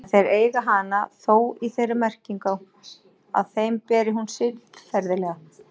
En þeir eigi hana þó í þeirri merkingu að þeim beri hún siðferðilega.